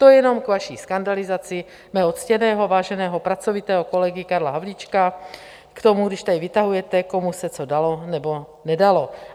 To jenom k vaší skandalizaci mého ctěného, váženého, pracovitého kolegy Karla Havlíčka, k tomu, když tady vytahujete, komu se to dalo, nebo nedalo.